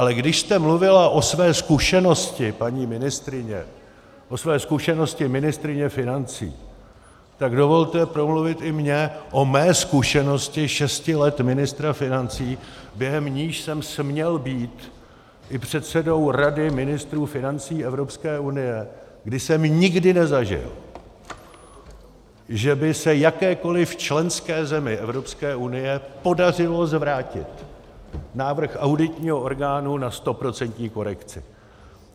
Ale když jste mluvila o své zkušenosti, paní ministryně, o své zkušenosti ministryně financí, tak dovolte promluvit i mně o mé zkušenosti šesti let ministra financí, během níž jsem směl být i předsedou Rady ministrů financí Evropské unie, kdy jsem nikdy nezažil, že by se jakékoliv členské zemi Evropské unie podařilo zvrátit návrh auditního orgánu na stoprocentní korekci.